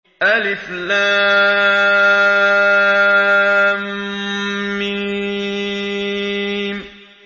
الم